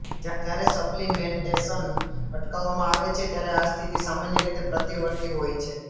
જ્યારે સપ્લિમેન્ટેશન અટકાવવામાં આવે છે ત્યારે આ સ્થિતિ સામાન્ય રીતે પ્રતિવર્તી હોય છે